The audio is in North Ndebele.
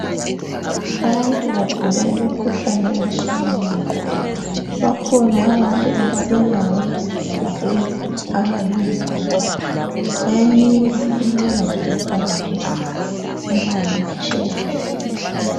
Abantu bagula imikhuhlane etshiyeneyo. Bakhona abantu abalenyawo ezigobileyo abayizigoga. Bayanikwa inqola zokuhambisa ama wilitsheya.